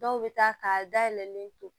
Dɔw bɛ taa ka dayɛlɛlen to